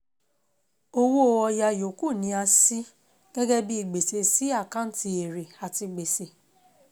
Owó ọ̀yà yòókù ni a ṣí gẹ́gẹ́ bíi gbèsè sí àkáǹtì èrè àti gbèsè.